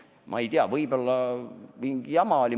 Ma ei tea, võib-olla oli mingi jama.